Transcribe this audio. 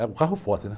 É o carro forte, né?